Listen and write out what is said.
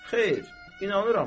Xeyr, inanıram da.